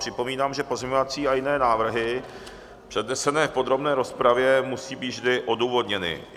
Připomínám, že pozměňovací a jiné návrhy přednesené v podrobné rozpravě musí být vždy odůvodněny.